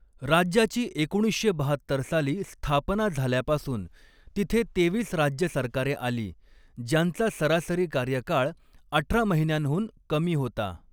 राज्याची एकोणीसशे बहात्तर साली स्थापना झाल्यापासून तिथे तेवीस राज्य सरकारे आली, ज्यांचा सरासरी कार्यकाळ अठरा महिन्यांहून कमी होता.